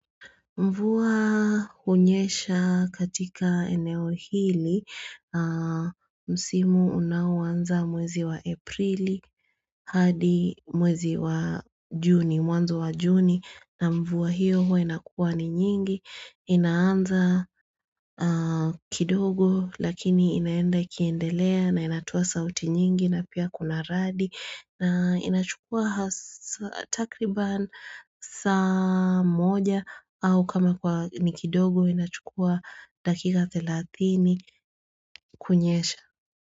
Mvuwa hunyesha katika eneo hili, msimu unaoanza mwezi wa aprili, hadi mwezi wa juni, mwanzo wa juni, na mvuwa hiyo hua inakua ni nyingi, inaanza kidogo lakini inaenda kiendelea na inatoa sauti nyingi na pia kuna radi. Na inachukua takriban saa moja au kama kwa ni kidogo inachukua dakika 30 kunyesha.